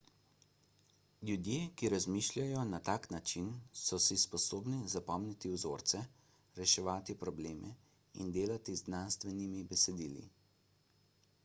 ljudje ki razmišljajo na tak način so si sposobni zapomniti vzorce reševati probleme in delati z znanstvenimi besedili